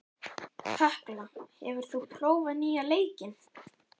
Tekla, hefur þú prófað nýja leikinn?